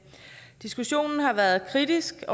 næste